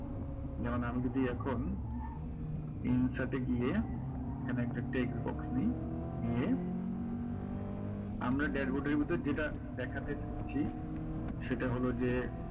যেমন আমি যদি এখন insert এ গিয়ে এখানে একটা text box নিই নিয়ে আমরা dashboard এর ভিতরে যেটা দেখাতে চাইছি সেটা হলো যে